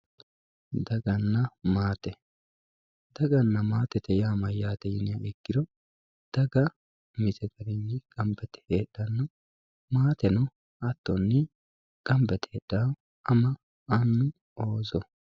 daganna maate daganna maate mayyate yiniha ikkiro dag umise garinni gamba yite heedhanno maateno hattonni gamba yite heedhawo ama annu ooso